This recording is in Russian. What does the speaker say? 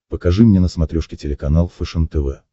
покажи мне на смотрешке телеканал фэшен тв